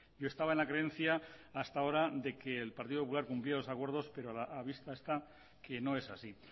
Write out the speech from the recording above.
yo estaba en la creencia hasta ahora de que el partido popular cumplía los acuerdos pero a la vista está que no es así